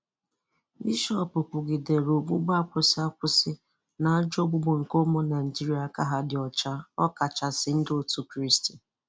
Bishop kwugidere ogbugbu akwụsị akwụsị na akwụsị na ajọ ogbugbu nke ụmụ Naịjirịa aka ha dị ọcha ọkachasị ndị otú Kraịst